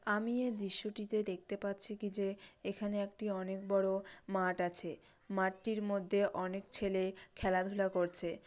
আমি এই দৃশ্যটি তে দেখতে পাচ্ছি কি যে এখানে একটি অনেক বড়ো মাঠ আছে। মাঠটির মধ্যে অনেক ছেলে খেলা ধুলা করছে ।